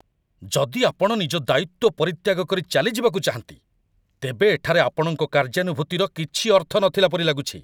ଯଦି ଆପଣ ନିଜ ଦାୟିତ୍ୱ ପରିତ୍ୟାଗ କରି ଚାଲିଯିବାକୁ ଚାହାଁନ୍ତି, ତେବେ ଏଠାରେ ଆପଣଙ୍କ କାର୍ଯ୍ୟାନୁଭୂତିର କିଛି ଅର୍ଥ ନଥିଲା ପରି ଲାଗୁଛି।